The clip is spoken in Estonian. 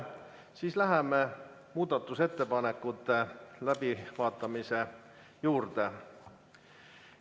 Siis läheme muudatusettepanekute läbivaatamise juurde.